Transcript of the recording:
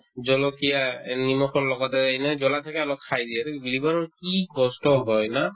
জলকীয়া এই নিমখৰ লগতে এনে জ্বলা থাকে অলপ খাই দিয়ে to এইটো গিলিবৰ সময়ত কি কষ্ট হয় না